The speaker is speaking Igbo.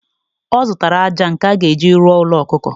Ọ zụtara ájá nke a ga-eji rụọ ųlo ọkụkọ.